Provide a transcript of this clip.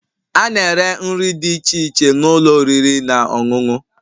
A na-ere nri dị iche iche n'ụlọ oriri na ọṅụṅụ